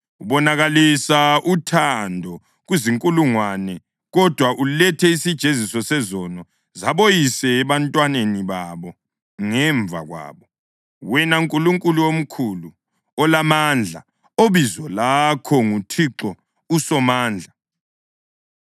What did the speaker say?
Ubonakalisa uthando kuzinkulungwane kodwa ulethe isijeziso sezono zaboyise ebantwaneni babo ngemva kwabo. Wena Nkulunkulu omkhulu olamandla, obizo lakho nguThixo uSomandla,